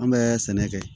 An bɛ sɛnɛ kɛ